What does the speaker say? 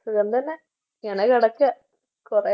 സുഖം തന്നെ കൊറേ